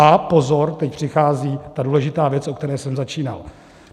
A pozor, teď přichází ta důležitá věc, o které jsem začínal.